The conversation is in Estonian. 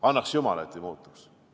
Annaks jumal, et ei muutuks!